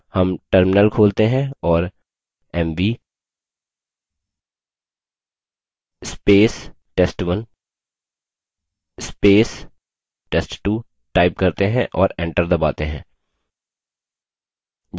हम terminal खोलते हैं और $mv test1 test2 type करते हैं और enter दबाते हैं